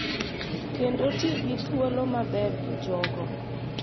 Kendo ti gi thuolo maber gi jogo.